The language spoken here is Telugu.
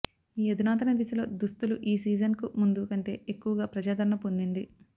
ఈ అధునాతన దిశలో దుస్తులు ఈ సీజన్కు ముందు కంటే ఎక్కువగా ప్రజాదరణ పొందింది